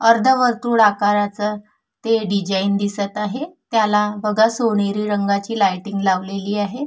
अर्ध वर्तुळ आकारच ते डिझाईन दिसत आहे. त्याला बघा सोनेरी रंगाची लाईटिंग लावलेली आहे.